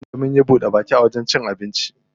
Da azumi munje munyi buɗe baki a wajen cin abincin wani otel.